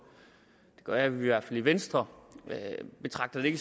det gør vi i hvert fald i venstre betragte det